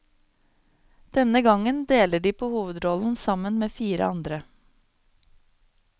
Denne gangen deler de på hovedrollene sammen med fire andre.